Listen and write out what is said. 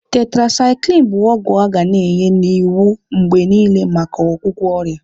Tetrasyklini bu ogwu aga na enye n'iwu mgbe niile maka ọgwụgwọ ọrịa.